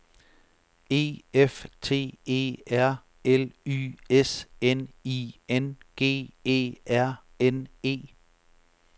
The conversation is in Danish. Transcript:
E F T E R L Y S N I N G E R N E